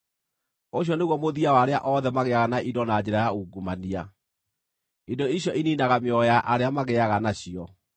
Ũcio nĩguo mũthia wa arĩa othe magĩaga na indo na njĩra ya ungumania; indo icio iniinaga mĩoyo ya arĩa magĩaga nacio.